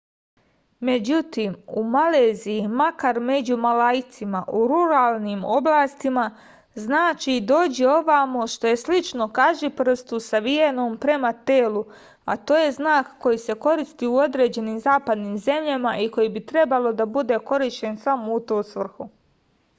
međutim u maleziji makar među malajcima u ruralnim oblastima znači dođi ovamo što je slično kažiprstu savijenom prema telu a to je znak koji se koristi u određenim zapadnim zemljama i koji bi trebalo da bude korišćen samo u tu svrhu